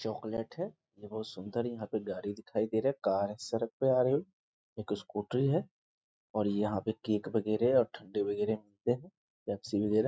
Chocolate है बहुत सुंदर यहां पर गाड़ी दिखाई दे रहे है कार सड़क पर आ रही है एक स्कूटी है और यहां पर केक वगेरह ठन्डे वगेरह मिलते हैं पेप्सी वगेरह।